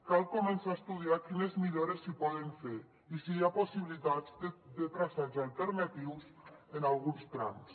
cal començar a estudiar quines millores s’hi poden fer i si hi ha possibilitats de traçats alternatius en alguns trams